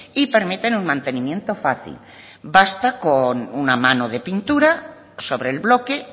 y permiten un mantenimiento fácil basta con una mano de pintura sobre el bloque